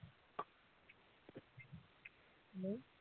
Hello